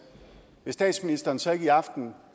vil statsministeren så ikke i aften